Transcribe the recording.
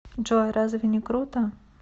джой разве не круто